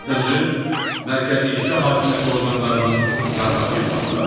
Altıncı - Mərkəzi İcra Hakimiyyəti orqanlarının normativ aktları.